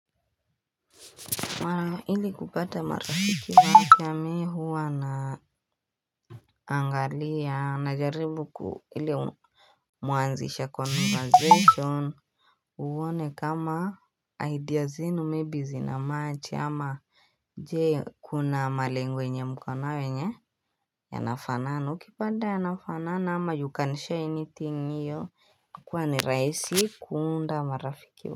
Mara ili kupata marafiki wa afya mi huwa naangalia najaribu kuhili muanzisha kwa conversation uone kama idea zenyu maybe zina match ama je, kuna malengo yenye mko nayo yenye yanafanana. Ukipata yanafanana ama you can share anything hiyo huwa ni rahisi kuunda marafiki wa.